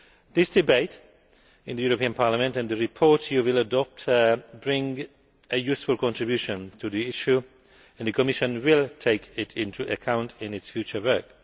This debate in Parliament and the report you will adopt make a useful contribution to the issue and the Commission will take it into account in its future work.